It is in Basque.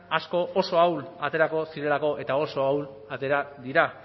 asko oso ahul aterako zirelako eta oso ahul atera dira